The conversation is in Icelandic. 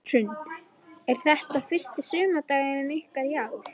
Hrund: Er þetta fyrsti sumardagurinn ykkar í ár?